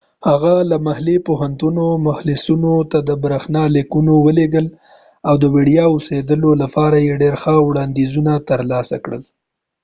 هغه د محلي پوهنتونو محصلینو ته برښنا لیکونه ولیږل او د وړیا اوسیدلو لپاره یې ډیر ښه وړانديزونه تر لاسه کړل